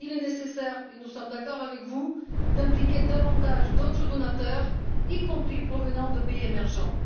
Il est nécessaire et nous sommes d'accord avec vous d'impliquer davantage d'autres donateurs, y compris originaires de pays émergents.